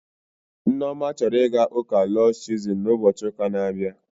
Nneoma chọrọ ịga ụka Lọds Chozun na ụbochi ụka na abịa